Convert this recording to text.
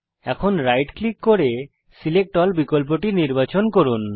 এখন right click করে select all বিকল্পটি নির্বাচন করুন